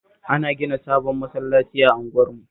Ana gina sabon masallaci a unguwarmu